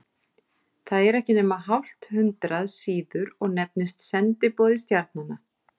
Það er ekki nema hálft hundrað síður og nefnist Sendiboði stjarnanna.